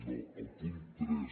no el punt tres